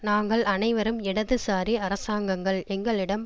நாங்கள் அனைவரும் இடது சாரி அரசாங்கங்கள் எங்களிடம்